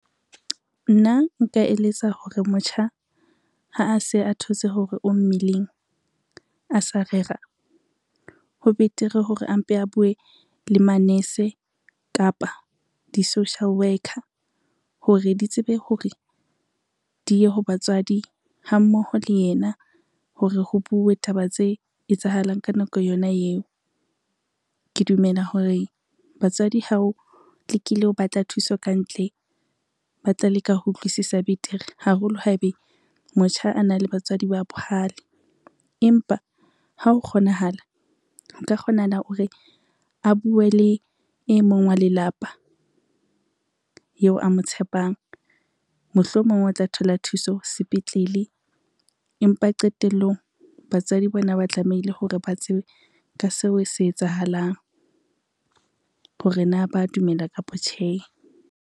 Nna nka eletsa hore motjha ha a se a thotse hore o mmeleng a sa rera, ho betere hore a mpe a bue le manese kapa di-social worker hore di tsebe hore di ye ho batswadi ha mmoho le yena hore ho bue taba tse etsahalang ka nako yona eo. Ke dumela hore batswadi hao tlekile ho batla thuso ka ntle, ba tla leka ho utlwisisa betere haholo haebe motjha a na le batswadi ba bohale. Empa ha ho kgonahala, nka kgonahala hore a bue le e mong wa lelapa yeo a mo tshepang, mohlomong o tla thola thuso sepetlele, empa qetelllong batswadi bona ba tlamehile hore ba tsebe ka seo se etsahalang hore na ba dumela kapa tjhe.